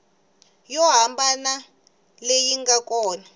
yo hambana leyi nga kona